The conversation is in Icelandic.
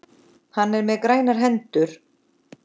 Hann er með grænar hendur.